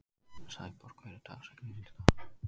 Sæborg, hver er dagsetningin í dag?